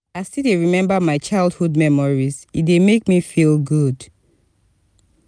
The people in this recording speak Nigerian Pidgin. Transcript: i still dey remember my childhood memories e dey make me feel good.